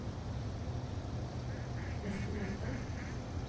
neste møte